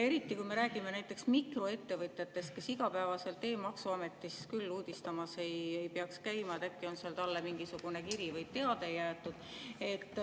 Eriti, kui me räägime näiteks mikroettevõtjatest, kes igapäevaselt e‑maksuametis küll uudistamas ei peaks käima, et äkki on seal talle mingisugune kiri või teade jäetud.